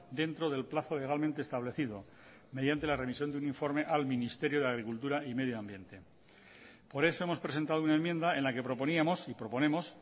dentro del plazo legalmente establecido mediante la remisión de un informe al ministerio de agricultura y medio ambiente por eso hemos presentado una enmienda en la que proponíamos y proponemos